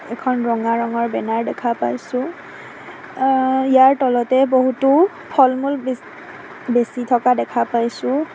এখন ৰঙা ৰঙৰ বেনাৰ দেখা পাইছোঁ আহ ইয়াৰ তলতে বহুতো ফলমূল বেছ বেছি থকা দেখা পাইছোঁ।